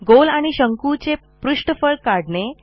गोल आणि शंकूचे पृष्ठफळ काढणे